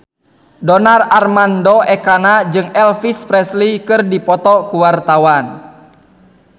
Donar Armando Ekana jeung Elvis Presley keur dipoto ku wartawan